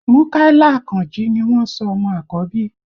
Múkàílà Àkànjí ni wọ́n sọ ọmọ àkọ́bí